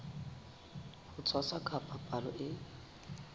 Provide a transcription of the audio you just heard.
ho tshwasa ka palo e